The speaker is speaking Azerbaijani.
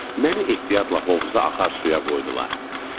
Məni ehtiyatla hovuza axar suya qoydular.